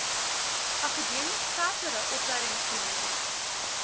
akademie verdere opleidingsgeleenthede